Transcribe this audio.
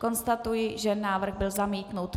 Konstatuji, že návrh byl zamítnut.